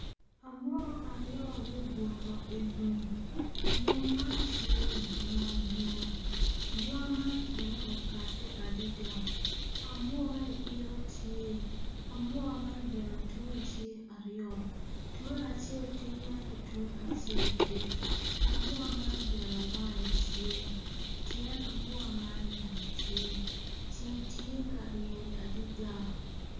Amuka aryo gubuto i lum lum man tye i bunga yen bunga man kine okadte adida amuka-ni ite tye amuka man bene tunge tye aryo tunge acel tidi ento tunge acel dit amuka man bene wange tye tyen amuka man bene tye ceng tye ka ryeny adida